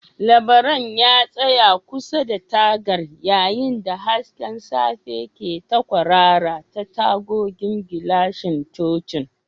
Labaran ya tsaya kusa da tagar yayin da hasken safiya ke ta kwarara ta tagogin gilashin cocin.